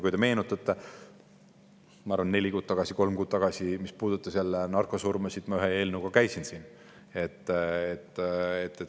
Kui te meenutate, ma arvan, et kolm-neli kuud tagasi ma käisin siin ühe eelnõuga, mis puudutas jälle narkosurmasid.